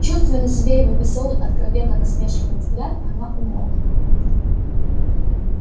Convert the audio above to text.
чувствуя на себе его весёлый откровенно насмешливый взгляд она умолкла